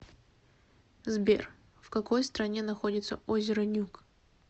сбер в какой стране находится озеро нюк